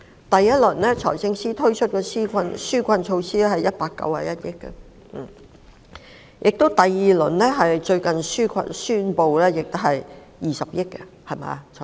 第一輪，財政司司長推出191億元的紓困措施，第二輪是最近宣布的，涉及20億元。